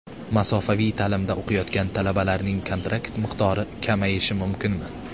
Masofaviy ta’limda o‘qiyotgan talabalarning kontrakt miqdori kamayishi mumkinmi?